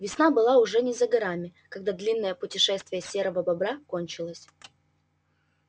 весна была уже не за горами когда длинное путешествие серого бобра кончилось